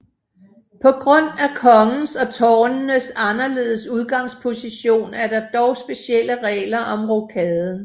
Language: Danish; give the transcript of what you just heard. På grund af kongens og tårnenes anderledes udgangsposition er der dog specielle regler om rokaden